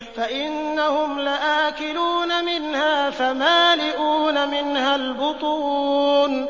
فَإِنَّهُمْ لَآكِلُونَ مِنْهَا فَمَالِئُونَ مِنْهَا الْبُطُونَ